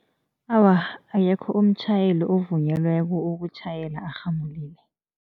Awa, akekho umtjhayeli ovunyelweko ukutjhayela arhamulile.